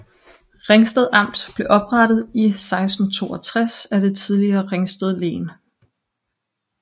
Ringsted Amt blev oprettet i 1662 af det tidligere Ringsted Len